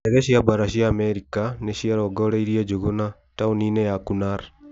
Ndege cia mbara cia Amerika nĩciarongoreirie Njuguna, taũni-inĩ ya Kunar.